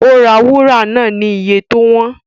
Ó ra wúrà náà ni iye tó wọ́n